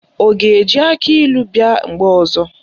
Ọ ga-eji akịlụ bịa mgbe ọzọ?